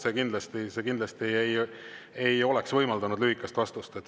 See kindlasti ei oleks võimaldanud lühikest vastust.